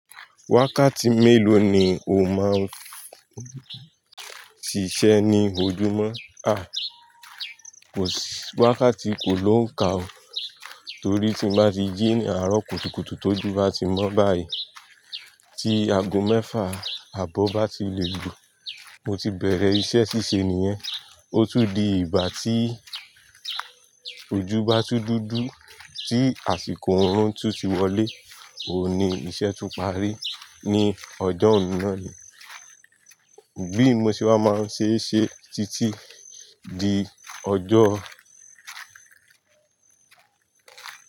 Wákàtí mélòó ni o máa ń ṣiṣẹ́ ní ojúmọ́? A! Wákàtí kò ló ń ka o. Torí tí n bá ti jí ni àárọ̀ kùtùkùtù tójú bá ti mọ́ báyìí, tí ago mẹ́fà àbọ̀ bá ti lè lu, mo ti bẹ̀rẹ̀ iṣẹ́ ṣíṣe nìyẹn. Ó tún di ìgbà tí ojú bá tun dúdú, tí àsìkò òórù tún ti wọlé, òní iṣẹ́ tún parí ní ọjọ́ ọ̀nà ni. Bí mo ṣe wá máa n ṣe ṣe títí di ọjọ́